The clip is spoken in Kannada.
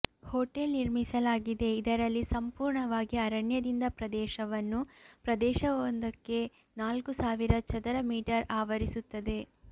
ಹೋಟೆಲ್ ನಿರ್ಮಿಸಲಾಗಿದೆ ಇದರಲ್ಲಿ ಸಂಪೂರ್ಣವಾಗಿ ಅರಣ್ಯದಿಂದ ಪ್ರದೇಶವನ್ನು ಪ್ರದೇಶವೊಂದಕ್ಕೆ ನಾಲ್ಕು ಸಾವಿರ ಚದರ ಮೀಟರ್ ಆವರಿಸುತ್ತದೆ